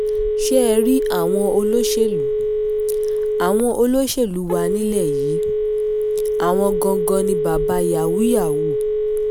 ṣé ẹ rí àwọn olóṣèlú àwọn olóṣèlú wa nílẹ̀ yìí àwọn gangan ni bàbá yàhùù-yàhùù